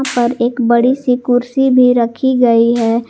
और एक बड़ी सी कुर्सी भी रखी गई है।